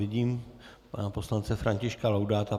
Vidím pana poslance Františka Laudáta.